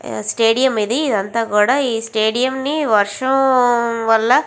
stadium ఇది ఇది అంతా కూడా ఈ స్టేడియం వర్షం వళ్ళ --